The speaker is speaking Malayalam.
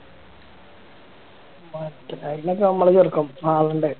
correct അതൊക്കെ നമ്മുടെ ചെറുക്കൻ വാലൻന്റൈൻ